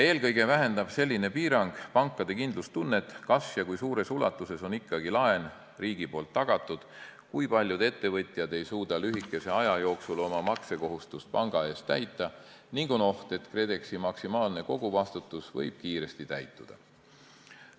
Eelkõige vähendab selline piirang pankade kindlustunnet, kas ja kui suures ulatuses on ikkagi laen riigi poolt tagatud, kui paljud ettevõtjad ei suuda lühikese aja jooksul oma maksekohustust panga eest täita ning on oht, et KredExi maksimaalse koguvastutuse maht võib kiiresti täituda.